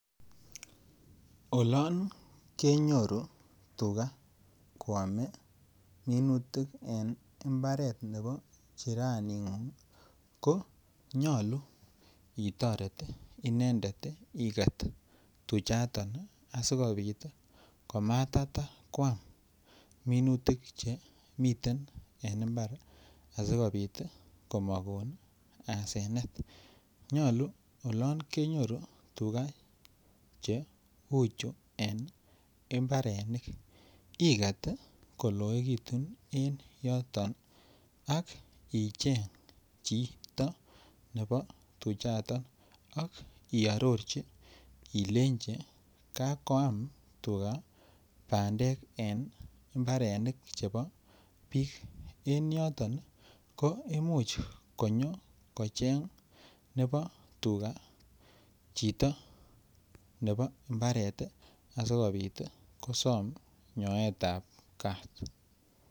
Olon kenyoru tukaa koame minutik en mbaret nebo chiraningung ko nyolu itoret inendet iket tuchato asi kobit komatata koam minutik Che miten en mbar asi kobit komokon asenet nyolu olon kenyoru tuga Che uchu en mbarenik iket koloekitu en yoto ak icheng chito nebo tuchato ak iarorji ilenji kakoam tukaa bandek en mbarenik chebo bik en yoton ko Imuch konyo kocheng nebo tukaa chito nebo mbaret asikobit kosom nyoetab kaat